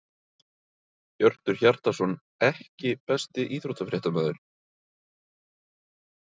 Hjörtur Hjartarson EKKI besti íþróttafréttamaðurinn?